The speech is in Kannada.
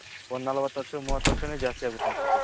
ಒಂದ್ ನಲವತು ವರ್ಷ ಮೊವತ್ ವರ್ಷ ದ್ಯಸ್ತಿ ಅಗುತೆ ಅನ್ಸುತೆ